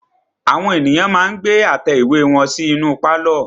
Àwọn ènìyàn ma ń gbé àtẹ ìwé wọn sí inú pálọ̀.